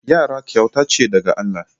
Yara kyauta ce daga Allah.